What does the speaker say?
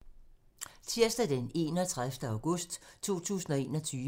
Tirsdag d. 31. august 2021